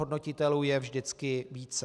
Hodnotitelů je vždycky více.